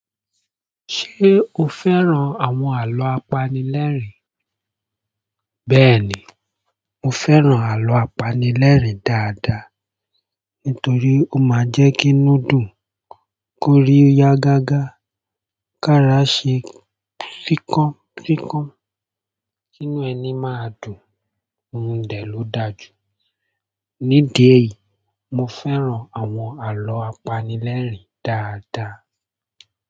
Ṣé o fẹ́ran àwọn àlọ́ apanilẹ́rìn? Bẹ́ẹ̀ni, mo fẹ́ran àlọ́ apanilẹ́rìn dáadáa nítorí ó máa ń jẹ́ kí núdù kórí ya gágá, kára ṣe fíkan fíkan, kinu ẹni máa dùn, ohun dẹ̀ ló dáa jù. Ní díẹ̀ yìí, mo fẹ́ran àwọn àlọ́ apanilẹ́rìn dáadáa.